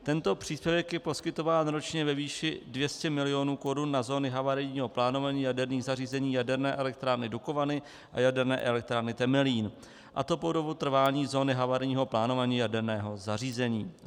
Tento příspěvek je poskytován ročně ve výši 200 milionů korun na zóny havarijního plánování jaderných zařízení Jaderné elektrárny Dukovany a Jaderné elektrárny Temelín, a to po dobu trvání zóny havarijního plánování jaderného zařízení.